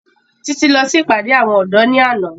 Títí lọ sí ìpàdé àwọn ọ̀dọ́ ní àná